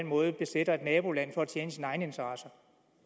måde besætter et naboland for at tjene sine egne interesser